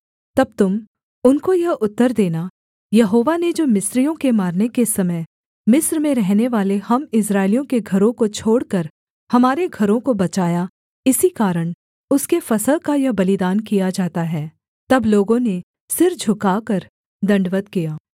तब तुम उनको यह उत्तर देना यहोवा ने जो मिस्रियों के मारने के समय मिस्र में रहनेवाले हम इस्राएलियों के घरों को छोड़कर हमारे घरों को बचाया इसी कारण उसके फसह का यह बलिदान किया जाता है तब लोगों ने सिर झुकाकर दण्डवत् किया